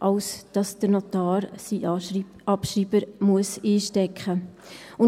als dass der Notar seinen Abschreiber einstecken muss.